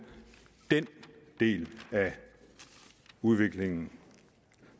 den del af udviklingen